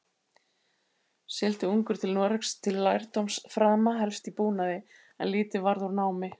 Sigldi ungur til Noregs til lærdómsframa, helst í búnaði, en lítið varð úr námi.